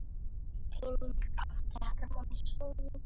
Einnig átti Hermann soninn Ellert.